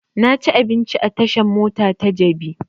Na ci abinci a tashan mota ta jabi